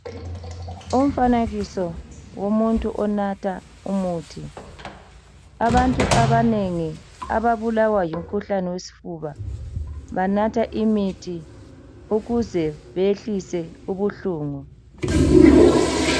Umfanekiso womuntu onatha umuthi abantu abanengi ababulawa yimkhuhlane wesifuba banatha imithi ukuze behlise ubuhlungu.